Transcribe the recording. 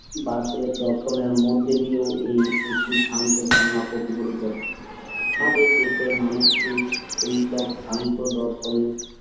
বার্থকেলেজ দর্শনের মধ্যে দিয়েও এই একি ভ্রান্ত ধারণা প্রতিফলিত আমাদের দেশের মানুষকে এই সব ভ্রান্ত দর্শন